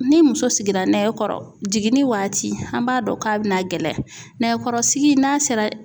Ni muso sigira nɛgɛkɔrɔ jiginni waati an b'a dɔn k'a bɛna gɛlɛya nɛgɛkɔrɔsigi n'a sera